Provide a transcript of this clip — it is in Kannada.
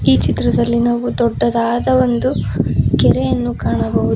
ಈ ಚಿತ್ರದಲ್ಲಿ ನಾವು ದೊಡ್ಡದಾದ ಒಂದು ಕೆರೆಯನ್ನು ಕಾಣಬಹುದು.